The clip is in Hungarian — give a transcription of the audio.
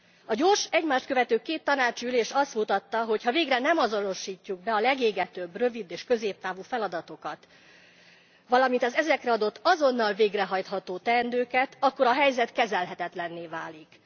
A gyors, egymást követő két tanácsi ülés azt mutatta, hogyha végre nem azonosítjuk be a legégetőbb rövid és középtávú feladatokat, valamint az ezekre adott azonnal végrehajtható teendőket, akkor a helyzet kezelhetetlenné válik.